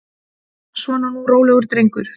Svona nú, rólegur drengur.